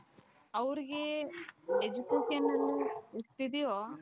ಅವರಿಗೆ education ಎಷ್ಟಿದೆಯೋ